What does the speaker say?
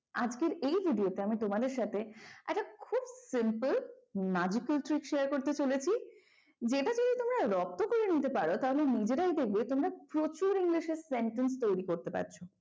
আজকের এই video তে আমি তোমাদের সাথে একটা খুব simple magical treak share করতে চলেছি যেটা যদি তোমরা রপ্ত করে নিতে পারো তাহলে নিজেরাই দেখবে তোমরা প্রচুর english এর sentence তৈরি করতে পারছ।